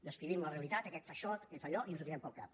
descrivim la realitat aquest fa això aquest fa allò i ens ho tirem pel cap